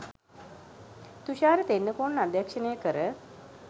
තුෂාර තෙන්නකෝන් අධ්‍යක්ෂණය කර